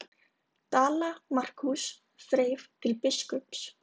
Dala-Markús þreif til biskups.